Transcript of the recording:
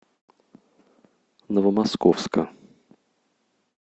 новомосковска